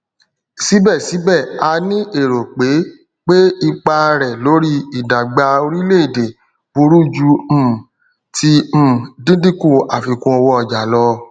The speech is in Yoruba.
sibesibe a ni ero pe pe ipa re lori idagba orileede buru ju um ti um dindinku afikunowooja lo